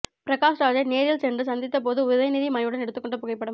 பிரகாஷ்ராஜை நேரில் சென்று சந்தித்தபோது உதயநிதி மணனைவியுடன் எடுத்து கொண்ட புகைப்படம்